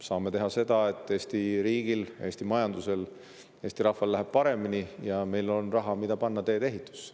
Saame teha seda, et Eesti riigil, Eesti majandusel, Eesti rahval läheb paremini ja meil on raha, mida panna tee-ehitusse.